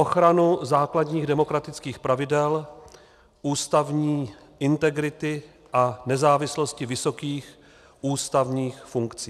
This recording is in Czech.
Ochranu základních demokratických pravidel, ústavní integrity a nezávislosti vysokých ústavních funkcí.